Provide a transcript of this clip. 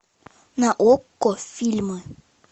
на окко фильмы